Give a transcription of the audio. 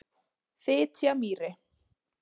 Fitjamýri